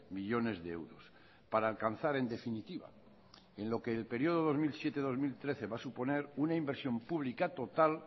millónes de euros para alcanzar en definitiva en lo que el período dos mil siete dos mil trece va a suponer una inversión pública total